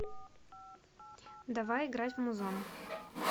давай играть в музон